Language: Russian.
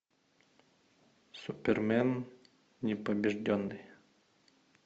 супермен непобежденный